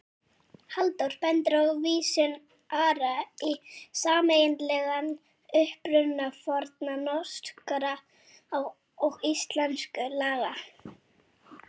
Halldór bendir á vísun Ara í sameiginlegan uppruna fornra norskra og íslenskra laga.